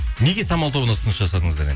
неге самал тобына ұсыныс жасадыңыздар